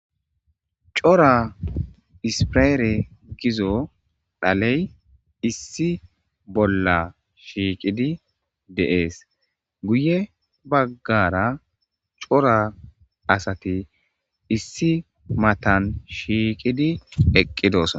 Cora ispiraere gizo dhaley issi bolla shiiqidi deees guye baggara cora asati issi matan shiiqidi eqqidosa.